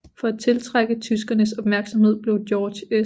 For at tiltrække tyskernes opmærksomhed blev George S